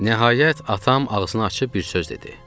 Nəhayət atam ağzını açıb bir söz dedi.